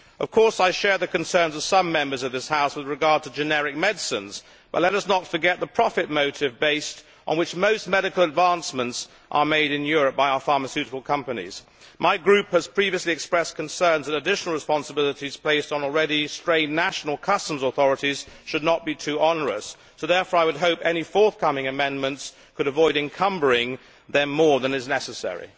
Of course, I share the concerns of some Members of this House with regard to generic medicines, but let us not forget the profit motive, on the basis of which most medical advancements are made in Europe by our pharmaceutical companies. My group has previously expressed concerns that additional responsibilities placed on already strained national customs authorities should not be too onerous, so therefore I would hope that any forthcoming amendments will avoid encumbering them more than is necessary.